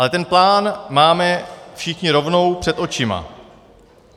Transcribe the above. Ale ten plán máme všichni rovnou před očima.